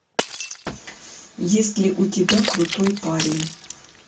есть ли у тебя крутой парень